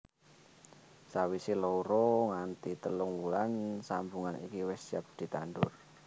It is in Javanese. Sawisé loro nganti telung wulan sambungan iki wis siap ditandur